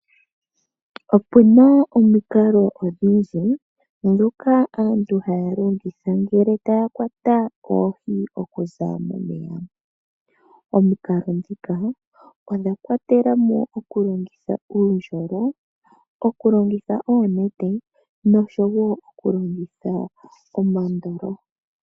Opu na omikalo odhindji dhoka aantu haya longitha ngele taya kwata oohi okuza momeya. Omikalo dhika odha kwatelamo okulongitha uundjolo, okulongitha oonete noshowo okulongitha omandolo.